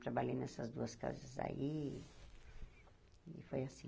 Trabalhei nessas duas casas aí e foi assim.